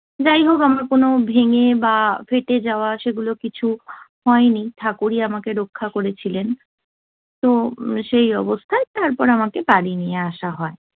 যাই হোক, আমার কোন ভেঙ্গে বা ফেটে যাওয়া সেগুলো কিছু হয়নি। ঠাকুর আমাকে রক্ষা করেছিলেন। তো সেই অবস্থায় তারপর আমাকে বাড়ি নিয়ে আসা হয়।